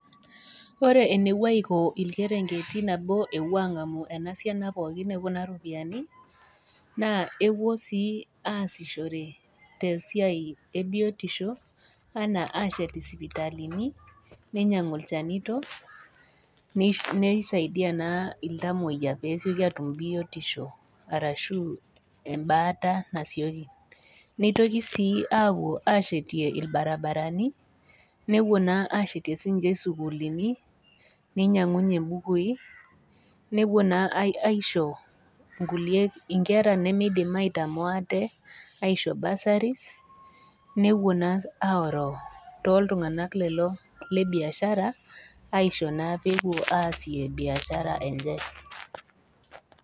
Ore enepuo aiko teneng'amu ena siana pooki e Kuna ropiani, naa epuo sii aasishore te esiai e biotisho anaa aashet isipitalini, neinyangu ilchanito, neisaidiaa naa iltamwoiya pee esioki aatum biotisho arashu embaata nasioki, neitoki sii aitoki aapuo ashetie ilbaribarani, nepuo naa ashetie sii ninye isukulini neinyangunye imbukui, nepuo naa aisho inkulie kera nemaidim aitamoo aate aisho burseries nepuo naa aoroo too iltung'ana lelo le biashara aisho naa peepuo aasie biashara enye.